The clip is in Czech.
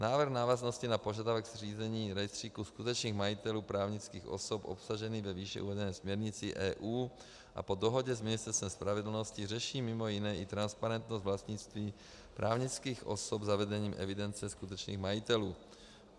Návrh v návaznosti na požadavek zřízení rejstříku skutečných majitelů právnických osob obsažený ve výše uvedené směrnici EU a po dohodě s Ministerstvem spravedlnosti řeší mimo jiné i transparentnost vlastnictví právnických osob zavedením evidence skutečných majitelů.